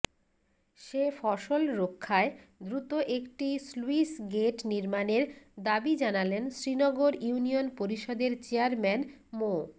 সে ফসল রক্ষায় দ্রুত একটি স্লুইসগেট নির্মাণের দাবি জানালেন শ্রীনগর ইউনিয়ন পরিষদের চেয়ারম্যান মো